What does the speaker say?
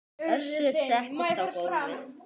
Össur settist á gólfið